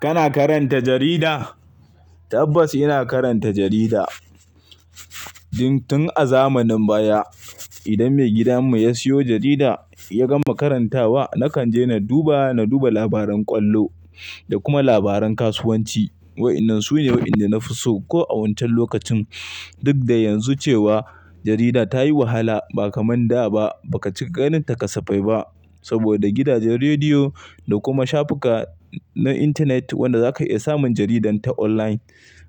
Kana karanta jarida? Tabbas ina karanta jarida. Tun a zamanin baya, idan maigidanmu ya siyo jarida ya gama karantawa, na kan je na duba, na duba labaran ƙwallo da kuma labaran kasuwanci. Wa'innan su ne wa'inda na fi so ko a wancan lokacin. Duk da yanzu cewa jarida ta yi wahala ba kaman da ba, ba ka cika ganinta kasafai ba saboda gidajen rediyo da kuma shafuka na intanet wanda za ka iya samun jaridan ta online.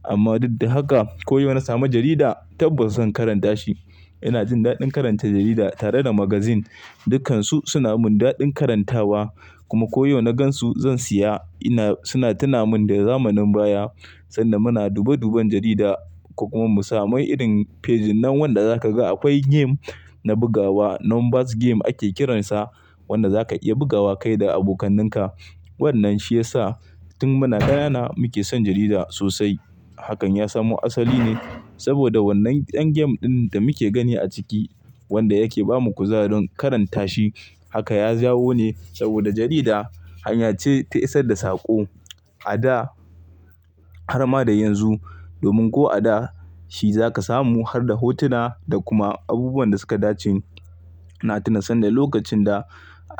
Amma duk da haka, ko yau na samu jarida tabbas zan karanta shi. Ina jin daɗin karanta jarida tare da magazine. Dukansu suna mun daɗin karantawa kuma ko yau na gan su zan siya. Ina, suna tuna min da zamanin baya sanda muna dube duben jarida ko kuma mu samu irin fejinan wanda zaka ga akwai game na bugawa, numbers game ake kiransa wanda za ka iya bugawa kai da abokaninka. Wannan shi ya sa tun muna ƙanana muke son jarida sosai. Hakan ya samu asali ne saboda wannan ɗan game ɗin da muke gani a ciki wanda yake ba mu kuzarin karanta shi. Haka ya jawo ne saboda jarida hanya ce ta isar da saƙo a da har ma da yanzu. Domin ko a da shi zaka samu har da hotuna da kuma abubuwan da suka dace. Na tuna sanda lokacin da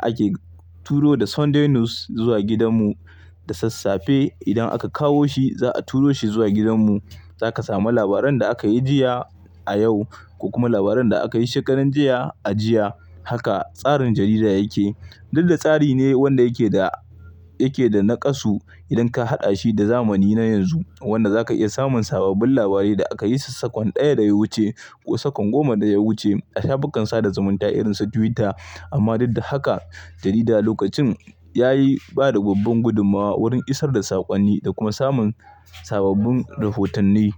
ake turo da Sunday News zuwa gidanmu da sassafe. Idan aka kawo shi, za a turo shi zuwa gidanmu. Za ka samu labaran da aka yi jiya a yau ko kuma labaran da aka yi shekaran jiya a jiya. Haka tsarin jarida yake. Duk da tsari ne wanda yake da, yake da naƙasu idan ka haɗa shi da zamani na yanzu wanda za ka iya samun sababbin labarai da aka yi sakwan ɗaya da ya wuce ko sakwan goma da ya wuce a shafukan sada zumunta irin su Twitter. Amma duk da haka, jarida lokacin yayi bada babban gudummawa wurin isar da sakonni da kuma samun sababbin rahotanni.